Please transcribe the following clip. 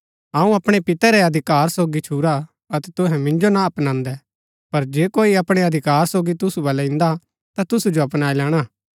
अऊँ अपणै पितै रै अधिकार सोगी छुरा अतै तुहै मिन्जो ना अपनांदै पर जे कोई अपणै अधिकार सोगी तुसु बलै इन्दा ता तुसु सो अपनाई लैणा